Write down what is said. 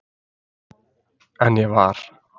En ég var